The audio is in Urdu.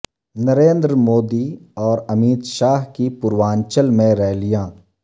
نریندر مودی اور امیت شاہ کی پورانچل میں ریلیاں